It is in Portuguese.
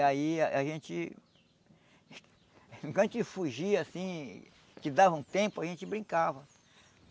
E aí a gente... Enquanto a gente fugia, assim, que dava um tempo, a gente brincava.